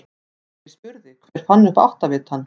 Birgir spurði: Hver fann upp áttavitann?